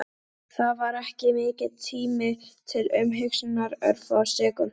Það var ekki mikill tími til umhugsunar, örfáar sekúndur.